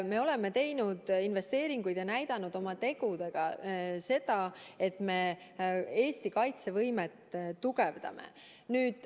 Me oleme teinud investeeringuid ja näidanud oma tegudega, et me tugevdame Eesti kaitsevõimet.